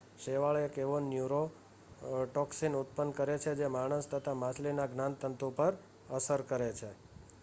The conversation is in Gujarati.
શેવાળ એક એવો ન્યૂરોટોક્સીન ઉત્પન્ન કરે છે જે માણસ તથા માછલીના જ્ઞાનતંતુ પર અસર કરે છે